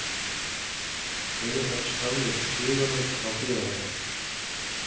Eyjamenn stálu stigunum á Hlíðarenda